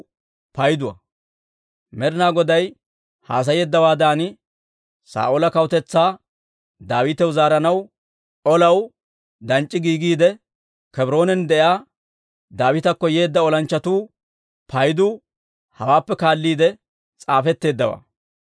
Med'inaa Goday haasayeeddawaadan Saa'oola kawutetsaa Daawitaw zaaranaw olaw danc'c'i giigiide, Kebroonan de'iyaa Daawitakko yeedda olanchchatuu paydu hawaappe kaalliide s'aafetteeddawaa.